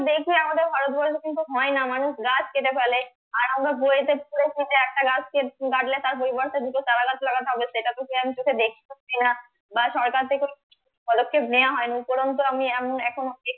কিন্তু হয়না মানুষ গাছ কেটে ফেলে আর আমরা বইয়েতে পড়েছি যে একটা গাছ কাটলে তার পরিবর্তে দুটো চারা গাছ লাগাতে হবে বা সরকার থেকেও কোনো পদক্ষেপ নেওয়া হয়নি উপরন্ত আমি